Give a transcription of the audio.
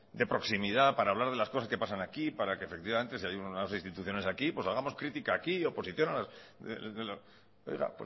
de proximidad para hablar de las cosas que pasan aquí para que efectivamente si hay unas instituciones aquí pues hagamos crítica aquí oposición oiga